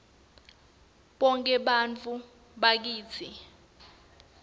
bonkhe bantfu bakitsi